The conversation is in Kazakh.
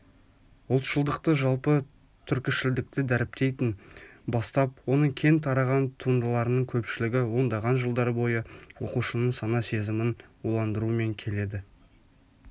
ұлтшылдықты жалпы түркішілдікті дәріптейтін бастап оның кең тараған туындыларының көпшілігі ондаған жылдар бойы оқушының сана-сезімін уландырумен келеді